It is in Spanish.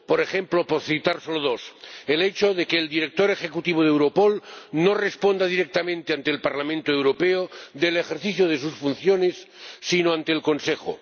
Por ejemplo, por citar solo dos el hecho de que el Director Ejecutivo de Europol no responda directamente ante el Parlamento Europeo del ejercicio de sus funciones, sino ante el Consejo